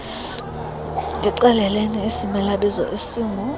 ndixeleleni isimelabizo esingu